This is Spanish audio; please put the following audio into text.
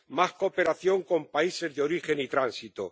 Más cooperación con los países de origen y tránsito.